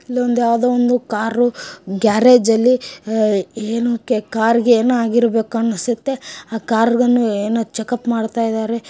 ಇಲ್ಲೊಂದು ಯಾವ್ದೋವೊಂದು car garage ಅಲ್ಲಿ ಅಹ್ ಏನು ಕಾರ್ ಗೆ ಏನೊ ಆಗಿರ್ಬೇಕು ಅನ್ನುಸುತ್ತೆ ಆ ಕಾರನ್ನು ಏನೊ ಚೆಕಪ್ ಮಾಡ್ತಾ ಇದ್ದಾರೆ ಅನ್ಸುತ್ತೆ.